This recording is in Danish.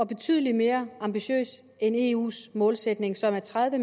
betydelig mere ambitiøs end eus målsætning som er tredive